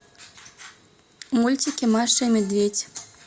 мультики маша и медведь